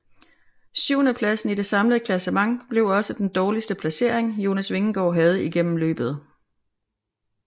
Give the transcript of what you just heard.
Syvendepladsen i det samlede klassement blev også den dårligste placering Jonas Vingegaard havde igennem løbet